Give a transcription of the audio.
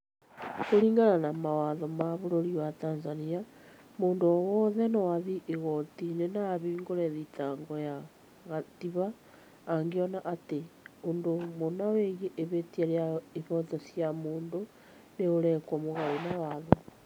Kuringana na mawatho ma bururi wa Tanzania, mũndũ o wothe no athiĩ igoti-inĩ na ahingũre thitango ya gatibaangĩona atĩ ũndũ mũna wĩgiĩ ihĩtia rĩa ihooto cia mũndũ nĩ ũrekwo mũgarũ na watho